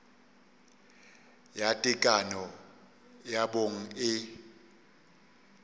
ya tekano ya bong e